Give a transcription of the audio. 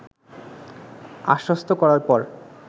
আশ্বস্ত করার পর